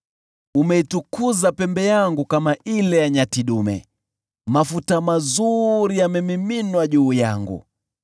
Umeitukuza pembe yangu kama ile ya nyati dume, mafuta mazuri yamemiminwa juu yangu.